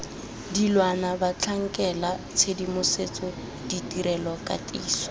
dilwana batlhankela tshedimosetso ditirelo katiso